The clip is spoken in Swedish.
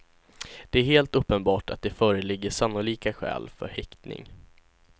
Det är helt uppenbart att det föreligger sannolika skäl för häktning.